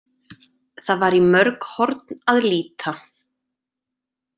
Það var í mörg horn að líta.